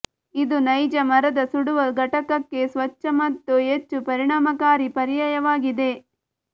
ಇದು ನೈಜ ಮರದ ಸುಡುವ ಘಟಕಕ್ಕೆ ಸ್ವಚ್ಛ ಮತ್ತು ಹೆಚ್ಚು ಪರಿಣಾಮಕಾರಿ ಪರ್ಯಾಯವಾಗಿದೆ